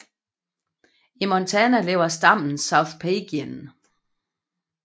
I Montana lever stammen South Peigan